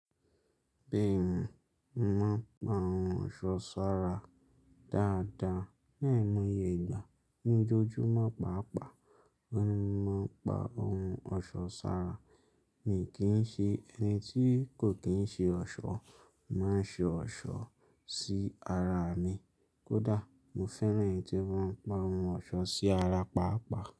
Béèni mo ma pá ohun ọ̀ṣọ́ sára dáadáa. Ní àìmọye ìgbà ní ojojúmo pàápàá mo ma pá ohun ọ̀ṣọ́ sára. Èmi kìí ṣe ẹni tí kò kìí ṣe ọ̀ṣọ́, mo máa ń ṣe ọ̀ṣọ́ sí ara mi. Kódà mo fẹ́ràn ẹni tí ó máa ń pa ohun ọ̀ṣọ́ sí ara pàápàá.